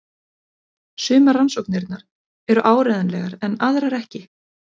Sumar rannsóknirnar eru áreiðanlegar en aðrar ekki.